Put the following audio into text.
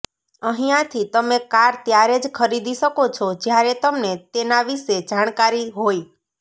અહિયાંથી તમે કાર ત્યારે જ ખરીદી શકો છો જયારે તમને તેના વિષે સારી જાણકારી હોય